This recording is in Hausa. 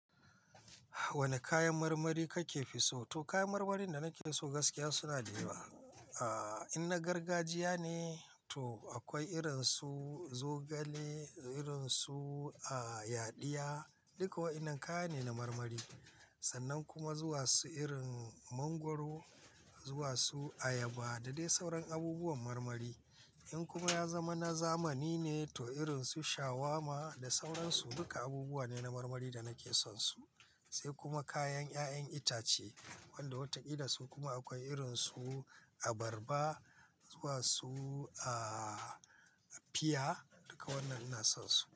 Wane kayan marmari kake fi so? To kayan marmarin da nake so gaskiya suna da yawa. Aaa, in na gargajiya ne, to akwai irin su zogale, irin su aa yadiya, duka wa'inan kaya ne na marmari. Sannan kuma zuwa su irin mangwaro, zuwa su ayaba da dai sauran abubuwan marmari. In kuma ya zama na zamani ne to irin su shawarma da sauransu, duka abubuwa ne na marmari da nake son su. Sai kuma kayan 'ya'yan itace, wanda wata kila su kuma akwai irin su abarba, zuwa su aa fiya, duka wannan ina son su.